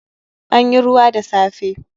An yi ruwa da safe